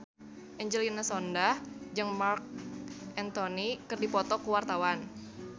Angelina Sondakh jeung Marc Anthony keur dipoto ku wartawan